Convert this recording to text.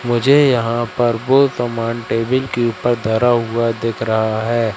मुझे यहां पर बहुत सामान टेबिल के ऊपर धारा हुआ दिख रहा है।